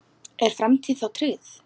Er framtíð þá trygg?